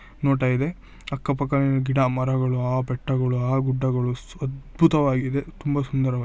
ನೋಡ್ತಾ ಇದೆ ಅಕ್ಕ ಪಕ್ಕದಲ್ಲಿ ಗಿಡ ಮರಗಳು ಆ ಬೆಟ್ಟಗಳು ಆ ಗುಡ್ಡಗಳು ಅದ್ಭುತವಾಗಿದೆ ತುಂಬಾ ಸುಂದರವಾಗಿದೆ .